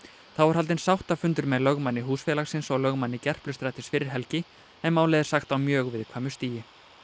þá var haldinn sáttafundur með lögmanni húsfélagsins og lögmanni fyrir helgi en málið er sagt á mjög viðkvæmu stigi